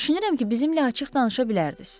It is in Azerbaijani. Düşünürəm ki, bizimlə açıq danışa bilərdiz.